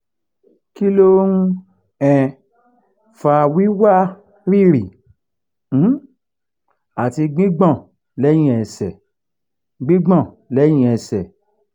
kí ló ń um fa wi wa riri um àti gbigbon leyin ẹsẹ̀? gbigbon leyin ẹsẹ̀?